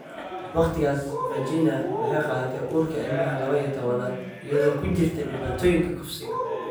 "Waqtigiias, Virginia waxay qaadatay uurka ilmaha lawa iyo towanaad iyadoo ku jirta dhibaatooyinka kufsiga."